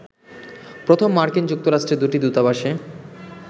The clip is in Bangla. প্রথম মার্কিন যুক্তরাষ্ট্রের দুটি দূতাবাসে